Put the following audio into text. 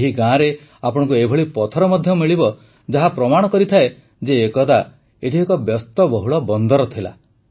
ଏହି ଗାଁରେ ଆପଣଙ୍କୁ ଏଭଳି ପଥର ମଧ୍ୟ ମିଳିବ ଯାହା ପ୍ରମାଣ କରିଥାଏ ଯେ ଏକଦା ଏଠି ଏକ ବ୍ୟସ୍ତବହୁଳ ବନ୍ଦର ଥିଲା